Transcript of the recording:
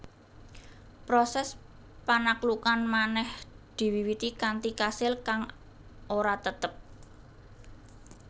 Proses panaklukan manèh diwiwiti kanthi kasil kang ora tetep